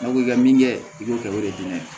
N'a ko k'i ka min kɛ i b'o kɛ o de ye diɲɛ ye